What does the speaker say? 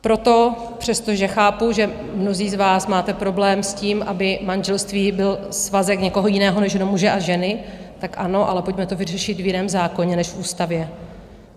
Proto, přestože chápu, že mnozí z vás máte problém s tím, aby manželství byl svazek někoho jiného než jenom muže a ženy, tak ano, ale pojďme to vyřešit v jiném zákoně než v ústavě.